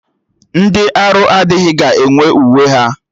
Ndị arụ adịghị ga-enwe uwe ha